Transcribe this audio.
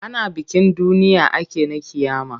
Ana bikin duniya ake na ƙiyama.